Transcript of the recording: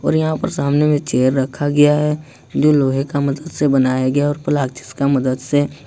और यहां पर सामने में चेयर रखा गया है जो लोहे का मदद से बनाया गया और प्लास्टिक का मदद से ।